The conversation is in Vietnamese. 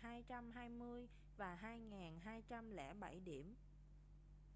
2.220 và 2.207 điểm